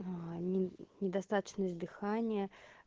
а недостаточность дыхания